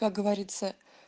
как говорится